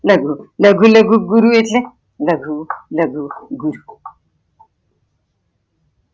લઘુ, લઘુ લઘુ ગુરુ એટલે લઘુ લઘુ ગુરુ